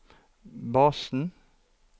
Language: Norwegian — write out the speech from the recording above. basen